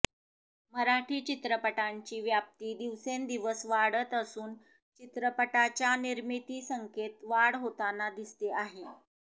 मराठी चित्रपटांची व्याप्ती दिवसेंदिवस वाढत असून चित्रपटाच्या निर्मिती संख्येत वाढ होताना दिसते आहे